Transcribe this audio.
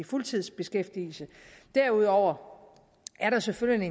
fuldtidsbeskæftigelse derudover er der selvfølgelig